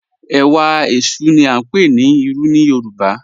Ẹwà ẹṣú ni a ń pè ní Ìrù ní Yorùbá.